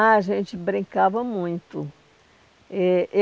Ah, a gente brincava muito. Eh